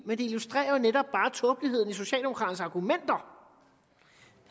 men det illustrerer netop bare tåbeligheden i socialdemokraternes argumenter